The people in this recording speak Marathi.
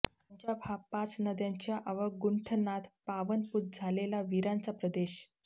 पंजाब हा पाच नद्यांच्या अवगुंठनात पावनपूत झालेला वीरांचा प्रदेश